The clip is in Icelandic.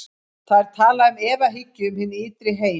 Þá er talað um efahyggju um hinn ytri heim.